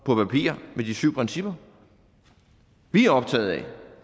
på papiret med de syv principper vi er optaget af